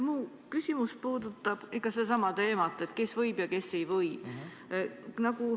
Minu küsimus puudutab ikka sedasama teemat, et kes võib ja kes ei või.